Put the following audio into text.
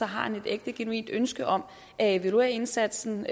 har han et ægte genuint ønske om at evaluere indsatsen